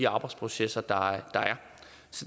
arbejdsprocesserne